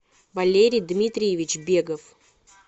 валерий дмитриевич бегов